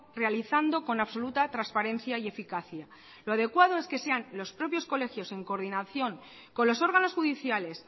realizando con absoluta transparencia y eficacia lo adecuado es que sean los propios colegios en coordinación con los órganos judiciales